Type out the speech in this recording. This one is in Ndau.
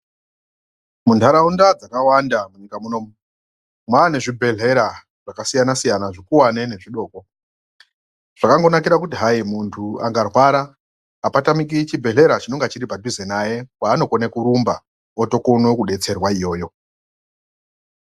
Munharaunda dzakawanda munyika munomu mwaane zvibhehleyra zvakasiyanasiyana zvekuwane nezvidoko zvakangonakira kuti hayi muntu akarwara apatamiki chibhehleya chinonga chiripadhuze naye kwaanokone kurumba otokone kudetserwa iyoyo.